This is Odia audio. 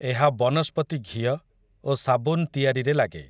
ଏହା ବନସ୍ପତି ଘିଅ, ଓ ସାବୁନ୍ ତିଆରିରେ ଲାଗେ ।